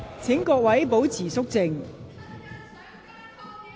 請各位保持肅靜。